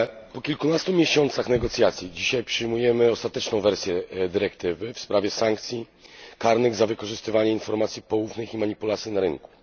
Po kilkunastu miesiącach negocjacji dzisiaj przyjmujemy ostateczną wersję dyrektywy w sprawie sankcji karnych za wykorzystywanie informacji poufnych i manipulacje na rynku.